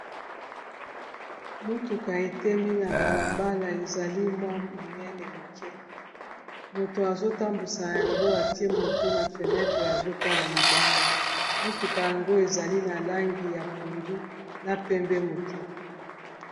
Mutuka, epemi na balabala. Ezali, mwa monene moke. Moto azo tambusa yango, atie moto na fenetre, azo tala libanda. Mutuka yango, ezali na langi ya pondu na pembe moke.